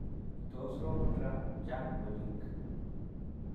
Tos ropon ra, chang' polik .